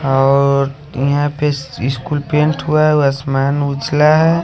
और यहाँ पे स्कूल पेंट हुआ है आसमान उछाला है--